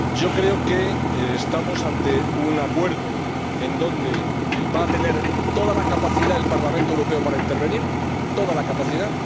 Creo que estamos ante un acuerdo donde va a tener toda la capacidad el Parlamento Europeo para intervenir, toda la capacidad.